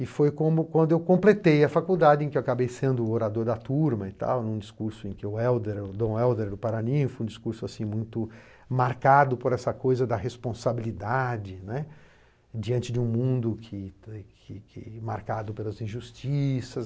E foi como quando eu completei a faculdade em que acabei sendo orador da turma e tal, em um discurso em que o Hélder Dom Hélder do Paranin foi um discurso assim muito marcado por essa coisa da responsabilidade, né, diante de um mundo que que marcado pelas injustiças.